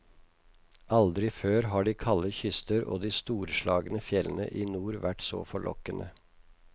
Aldri før har de kalde kyster og de storslagne fjellene i nord vært så forlokkende.